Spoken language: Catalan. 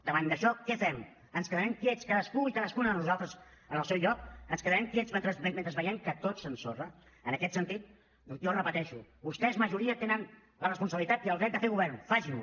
davant d’això què fem ens quedarem quiets cadascú i cadascuna de nosaltres en el seu lloc ens quedarem quiets mentre veiem que tot s’ensorra en aquest sentit jo ho repeteixo vostès majoria tenen la responsabilitat i el dret de fer govern facin lo